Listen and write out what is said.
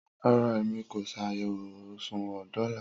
Rara, Emi ko ṣayẹwo oṣuwọn dola